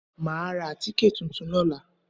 Màá ra àtíkè tuntun lóla